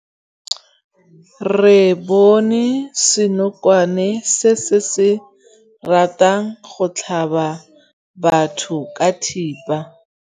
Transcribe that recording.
Re bone senokwane se se ratang go tlhaba batho ka thipa.